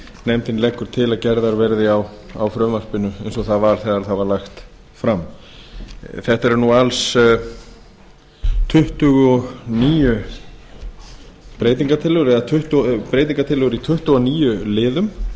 nefndin leggur til að gerðar verði á frumvarpinu eins og það var þegar það var lagt fram þetta eru alls tuttugu og níu breytingartillögur eða breytingartillögur í tuttugu og níu liðum